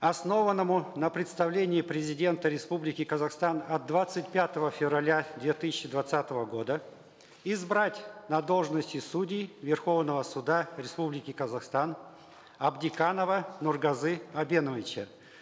основанному на представлении президента республики казахстан от двадцать пятого февраля две тысячи двадцатого года избрать на должности судей верховного суда республики казахстан абдиканова нургазы абеновича